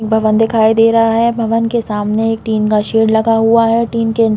भवन दिखाई दे रहा है भवन के सामने एक टिन का सेड लगा हुआ है टिन के--